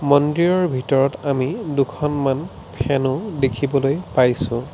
মন্দিৰৰ ভিতৰত আমি দুখনমান ফেন ও দেখিবলৈ পাইছোঁ।